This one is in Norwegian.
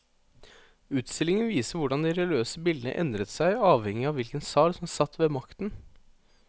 Utstillingen viser hvordan de religiøse bildene endret seg avhengig av hvilken tsar som satt ved makten.